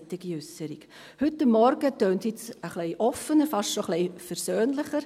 Heute Morgen klingt es etwas offener, fast schon ein wenig versöhnlicher.